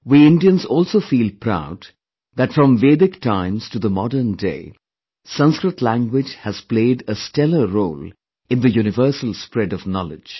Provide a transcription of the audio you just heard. We Indians also feel proud that from Vedic times to the modern day, Sanskrit language has played a stellar role in the universal spread of knowledge